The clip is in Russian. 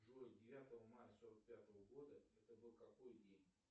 джой девятого мая сорок пятого года это был какой день